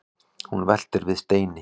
hún veltir við steinum